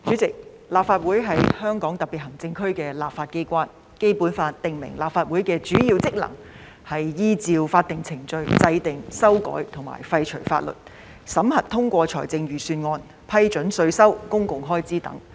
主席，立法會是香港特別行政區的立法機關，《基本法》訂明立法會的主要職能是依照法定程序制定、修改和廢除法律；審核通過財政預算案；批准稅收及公共開支等。